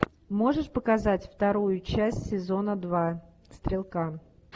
можешь показать вторую часть сезона два стрелка